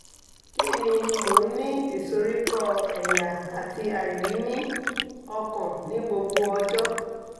kí ni mo ń ní ìsoríkọ́ ẹ̀yà àti àìrími-ọkàn ní gbogbo ọjọ́